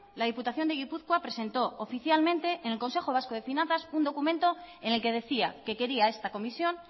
la diputación de gipuzkoa presentó oficialmente en el consejo vasco de finanzas un documentos en el que decía que quería esta comisión